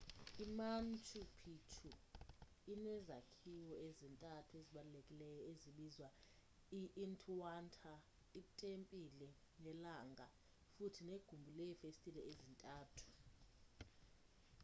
i-manchu pichu inezakhiwo ezintathu ezibalulekileyo ezibizwa i-intihuanta itempile yelanga futhi negumbi leefestile ezintathu